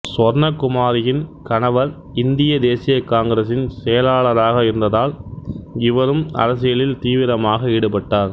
சுவர்ணகுமாரியின் கணவர் இந்திய தேசிய காங்கிரசின் செயலாளராக இருந்ததால் இவரும் அரசியலில் தீவிரமாக ஈடுபட்டார்